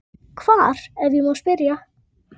Hvar, ef ég má spyrja?